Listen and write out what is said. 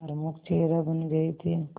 प्रमुख चेहरा बन गए थे